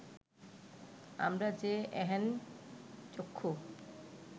আমরা যে এহেন চক্ষু